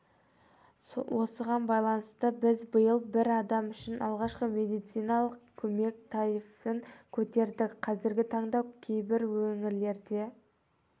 осыған байланысты біз биыл бір адам үшін алғашқы медициналық көмек тарифін көтердік қазіргі таңда кейбір өңірлерде